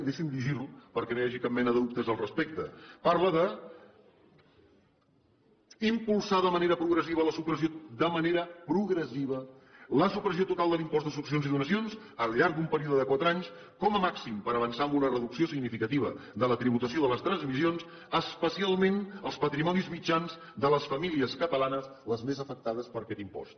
deixi’m llegir li ho perquè no hi hagi cap mena de dubtes al respecte parla d’ impulsar de manera progressiva la supressió total de l’impost de successions i donacions al llarg d’un període de quatre anys com a màxim per avançar en una reducció significativa de la tributació de les transmissions especialment els patrimonis mitjans de les famílies catalanes les més afectades per aquest impost